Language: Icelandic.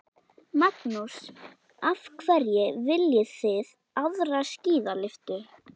Magnús: Af hverju viljið þið aðra skíðalyftu?